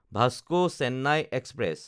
Vasco Chennai express